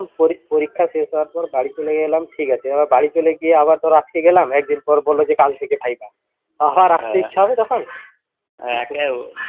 পরীক্ষা শেষ হওয়ার পর বাড়ি চলে গেলাম ঠিক আছে এভাবে বাড়ি চলে গিয়ে আবার ধর আজকে গেলাম একদিন পর বললো যে কাল থেকে viva আসতে ইচ্ছা হবে তখন